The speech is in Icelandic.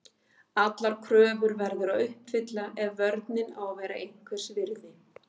Allar kröfur verður að uppfylla ef vörnin á að vera einhvers virði.